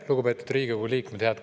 Lugupeetud Riigikogu liikmed!